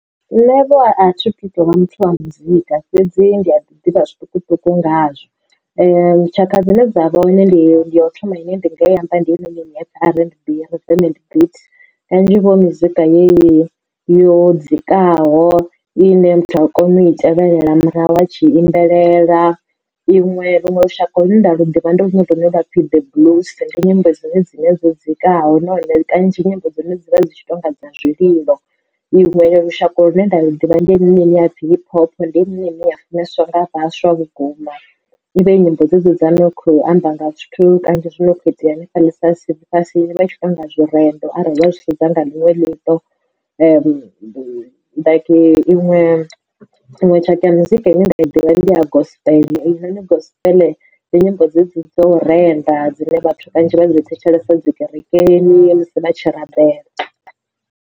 Nṋe vho athi tu tovha muthu wa muzika fhedzi ndi a ḓi ḓivha zwiṱukuṱuku ngazwa tshaka dzine dza vha hone ndi ndi ya u thoma ine ndi nga yi amba ndi hei noni R_N_B . Kanzhi huvha hu mizika yeyi yo dzikaho ine muthu u a kona u i tevhelela murahu a tshi imbelela. Iṅwe vhuṅwe lushaka lune nda luḓivha ndi lunwe lune lwa pfhi the bliss ndi nyimbo dzine dzine dzo dzikaho na hone dzi kanzhi nyimbo dza hone dzi vha dzi dzi tshi tonga dza zwililo. Iṅwe lushaka lu ne nda lu ḓivha ndi lwa dzi hip hop ndi yone ine ya funeswaho nga vhaswa vhukuma ivha i nyimbo dzedzo dza kho amba nga zwithu kanzhi zwi no kho itea hanefha ḽifhasini i vha i tshi tou nga zwirendo arali wa zwi sedza nga ḽiṅwe ḽiṱo. Iṅwe iṅwe tshaka ya muzika ine nda i ḓivha ndi ya gospel gospel ndi nyimbo dzedzi dzau renda dzine vha swika vha dzi thetshelesa dzi kerekeni musi vha tshi rabela.